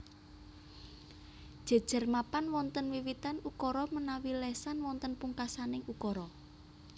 Jejer mapan wonten wiwitan ukara menawi lesan wonten pungkasaning ukara